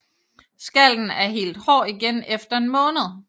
Skallen er helt hård igen efter en måned